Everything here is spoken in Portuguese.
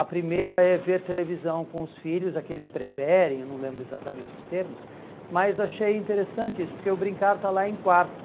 A primeira é ver televisão com os filhos, a que eles preferem, eu não lembro exatamente os termos, mas achei interessante isso, porque o brincar está lá em quarto.